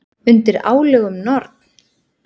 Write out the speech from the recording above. Undir álögum Norn!